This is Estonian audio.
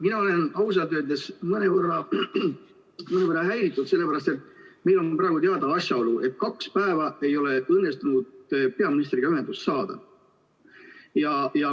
Mina olen ausalt öeldes mõnevõrra häiritud, sellepärast et meil on praegu teada asjaolu, et kaks päeva ei ole õnnestunud peaministriga ühendust saada.